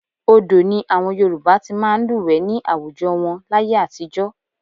Odò ni àwọn Yorùbá ti máa ń lúwẹ̀ẹ́ ní àwùjọ wọn láyé àtijọ́